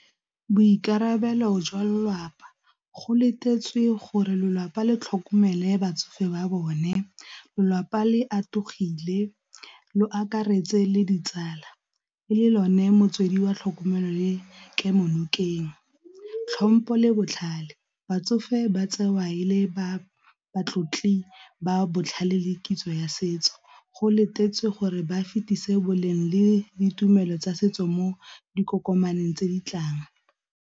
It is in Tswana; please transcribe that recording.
Boikarabelo jwa lelapa go letetswe gore lelapa le tlhokomele batsofe ba bone, lelapa le a le akaretse le ditsala, le lone motswedi wa tlhokomelo le kemo nokeng. Tlhompo le botlhale, batsofe ba tsewa e le ba ba tlotli ba botlhale le kitso ya setso go letetswe gore ba fetisa boleng le ditumelo tsa setso mo dikokomaneng tse di tlang.